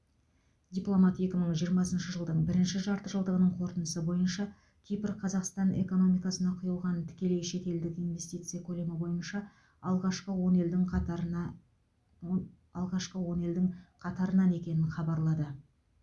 дипломат екі мың жиырмасыншы жылдың бірінші жартыжылдығының қорытындысы бойынша кипр қазақстан экономикасына құйылған тікелей шетелдік инвестиция көлемі бойынша алғашқы он елдің қатарына алғашқы он елдің қатарынан екенін хабарлады